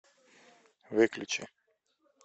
выключи